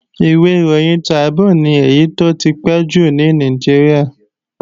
Ìwé ìròyìn Tribune ni èyí tó ti pẹ́ jùlọ ní Nàìjíríà